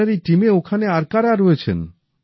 আপনার এই টিমে ওখানে আর কারা রয়েছেন